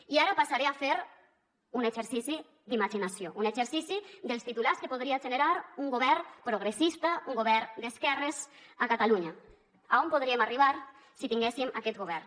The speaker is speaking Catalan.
i ara passaré a fer un exercici d’imaginació un exercici dels titulars que podria generar un govern progressista un govern d’esquerres a catalunya a on podríem arribar si tinguéssim aquest govern